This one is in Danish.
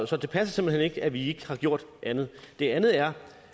så det passer simpelt hen ikke at vi ikke har gjort andet det andet er